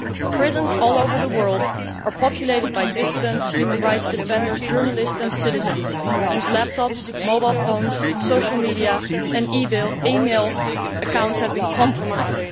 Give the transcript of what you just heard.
Prisons all over the world are populated by dissidents, human rights defenders, journalists and citizens whose laptops, mobile phones, social media and e mail accounts have been compromised.